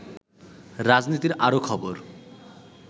রাজনীতির আরো খবর